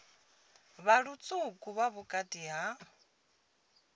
vha lutswuku vha vhukati ha